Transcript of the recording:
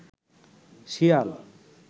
শিয়াল